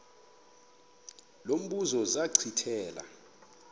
lo mbuzo zachithela